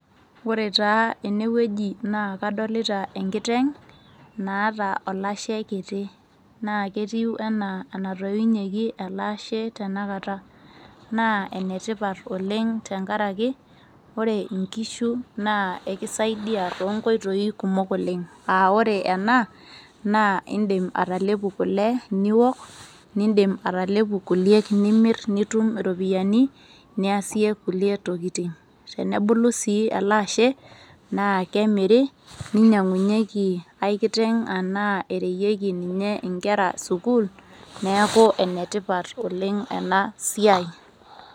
Ore taa ene weuji naa kadolita enkiteng' naata olashe kiti, naa ketiu enaa enatoiunyieki ele ashe tenekata naa enetippat oleng' tenkaraki ore einkishu naa kisaidia toonkoitoi kumok oleng' aa ore ena indim atalepu kule, niook niidim atalepu kulie nimirr nitum iropiyiani niasie kulie tokitin, tenebulu sii ele ashe naa kemiri ninyiang'unyiekie ai kiteng' ashu ereyieki nkera sukuul. Neeku nenetipat oleng' ena siai.